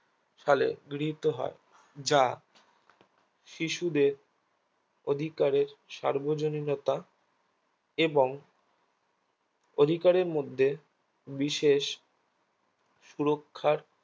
সালে গৃহীত হয় যা শিশুদের অধিকারে সার্বজনীনতা এবং অধিকারের মধ্যে বিষেশ সুরক্ষার